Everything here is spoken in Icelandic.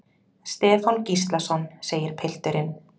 Stefán Gíslason, segir pilturinn.